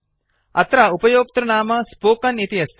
अत्र उपयोक्तृनाम स्पोकेन इति अस्ति